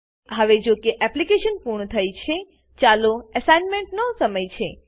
હવે જો કે એપ્લીકેશન પૂર્ણ થઇ છે ચાલો એસાઈનમેંટનો સમય છે